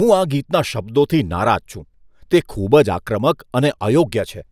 હું આ ગીતના શબ્દોથી નારાજ છું. તે ખૂબ જ આક્રમક અને અયોગ્ય છે.